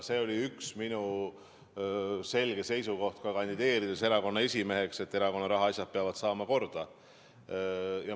See oli üks minu selgeid seisukohti ka erakonna esimeheks kandideerides, et erakonna rahaasjad peavad saama korda.